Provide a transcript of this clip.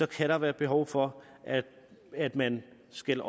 kan der være behov for at man skal